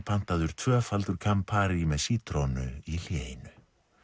pantaður tvöfaldur campari með sítrónu í hléinu